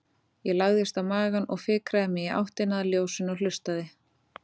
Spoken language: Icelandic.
Ég lagðist á magann og fikraði mig í áttina að ljósinu og hlustaði.